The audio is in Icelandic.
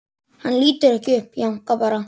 Hann lítur ekki upp, jánkar bara.